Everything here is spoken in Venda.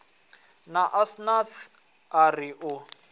na asnath a ri u